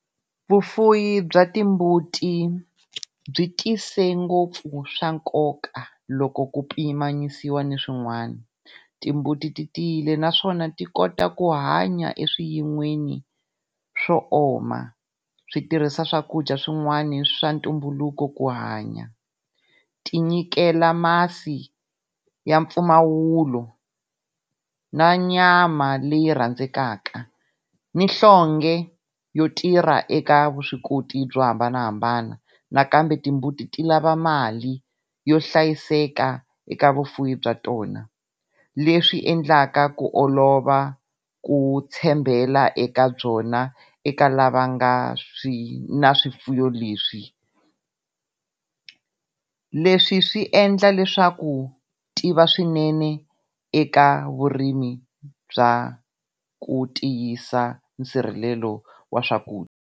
Vufuwi bya timbuti byi tise ngopfu swa nkoka loko ku pimanisiwa ni swin'wana. Timbuti ti tiyile naswona ti kota ku hanya eswiyin'weni swo oma. Switirhisa swakudya swin'wani swa ntumbuluko ku hanya. Tinyikela masi ya mpfumawulo na nyama leyi rhandzekaka, ni nhlonge yo tirha eka vuswikoti byo hambanahambana. Nakambe timbuti ti lava mali yo hlayiseka eka vufuwi bya tona. l Leswi endlaka ku olova ku tshembela eka byona eka lava nga ni swifuwo leswi. Leswi swi endla leswaku u tiva swinene eka vurimi bya ku tiyisisa nsirhelelo wa swakudya.